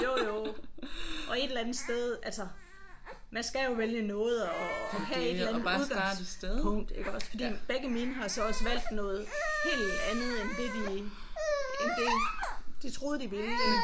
Jo jo og et eller andet sted altså man skal jo vælge noget og og have et eller andet udgangspunkt iggås fordi begge mine har så også valgt noget helt andet end det end det de troede de ville ik